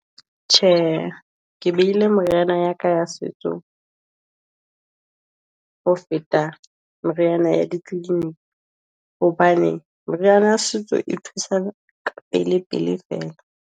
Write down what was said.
Tjhe, ke behile moriana ya ka ya setso, ho feta moriana ya di clinic, hobane moriana setso e thusa ka pele pele fela.